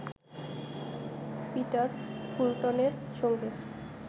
Peter ফুলটনের সঙ্গে